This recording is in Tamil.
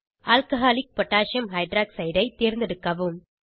ஆல்கஹாலிக் பொட்டாசியம் ஹைட்ராக்சைட் alcகோஹ் ஐ தேர்ந்தெடுக்கவும்